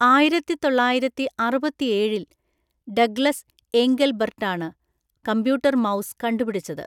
ആയിരത്തിതൊള്ളായിരത്തിഅറുപത്തിയേഴില്‍ Douglas ഏംഗൽബർട്ടാണ് computer mouse കണ്ടുപിടിച്ചത്.